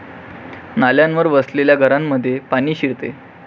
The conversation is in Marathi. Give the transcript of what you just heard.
नाल्यांवर वसलेल्या घरांमध्ये पाणी शिरते.